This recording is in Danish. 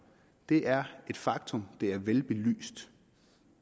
det er et faktum det er velbelyst